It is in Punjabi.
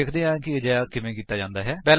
ਵੇਖਦੇ ਹਾਂ ਕਿ ਅਜਿਹਾ ਕਿਵੇਂ ਕਰਦੇ ਹਨ